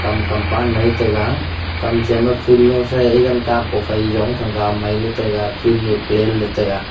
kam compound Mai taiga kam chen mae phool nosae egan kap ko phai yong thanga maitaiga field e plain le taiga.